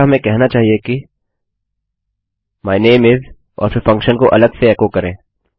अच्छा हमें कहना चाहिए कि माय नामे इस और फिर फंक्शन को अलग से एको करें